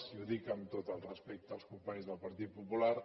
i ho dic amb tot el respecte als companys del partit popular